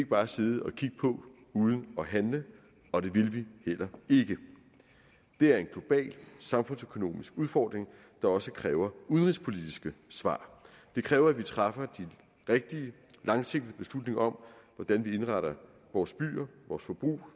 bare sidde og kigge på uden at handle og det vil vi heller ikke det er en global samfundsøkonomisk udfordring der også kræver udenrigspolitiske svar det kræver at vi træffer de rigtige langsigtede beslutninger om hvordan vi indretter vores byer vores forbrug